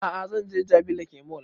A'a zan je jabi lake mall